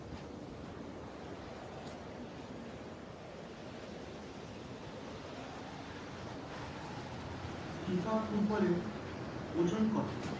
FIFA ফুটবলের ওজন কত